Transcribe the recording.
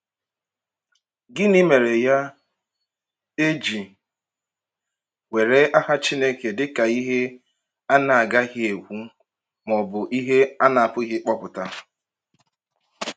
Gịnị mere, ya, a ji were aha Chineke dị ka “ihe a na-agaghị ekwu,” ma ọ bụ “ihe a na-apụghị ịkpọpụta”?